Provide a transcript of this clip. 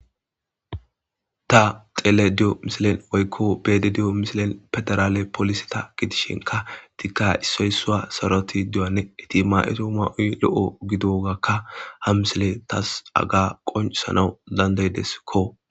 ta xele diyo misilen oykko bede diyo misilen pedarale polisi ta gidishinka dikka issoysaa saroti du7anne itima7eto ma7oy lo7o gidogakka ha misile tas aga qoncsanawu dandaydeskko